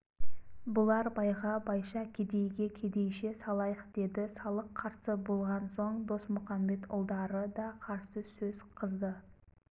бұлар байға байша кедейге кедейше салайық деді салық қарсы болған соң досмұқамбетұлдары да қарсы сөз қызды